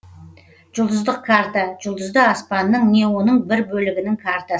жұлдыздық карта жұлдызды аспанның не оның бір бөлігінің картасы